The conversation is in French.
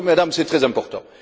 Madame, c'est très important.